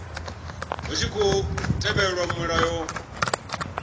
hu tshi khou tevhelwa mulayo